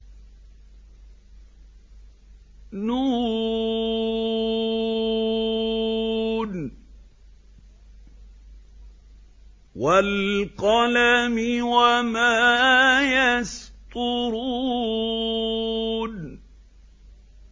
ن ۚ وَالْقَلَمِ وَمَا يَسْطُرُونَ